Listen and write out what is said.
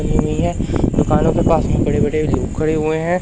दुकानों के पास में बड़े बड़े खड़े हुए है।